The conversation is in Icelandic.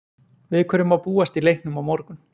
Við hverju má búast í leiknum á morgun?